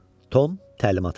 Tom təlimat alır.